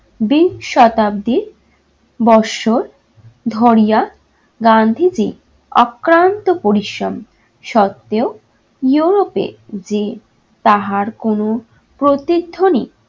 দীপ শতাব্দীর বৎসর ধরিয়া গান্ধীজী অক্লান্ত পরিশ্রম সত্ত্বেও europe এ যে তাহার কোন প্রতিধ্বনি